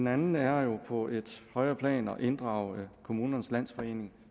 andet er jo på et højere plan at inddrage kommunernes landsforening